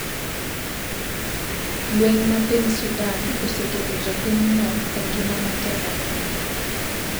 lweny ma piny Sudan oseketo jopinyno e ngima matek ahinya